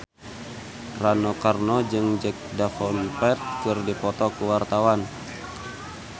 Rano Karno jeung Jack Davenport keur dipoto ku wartawan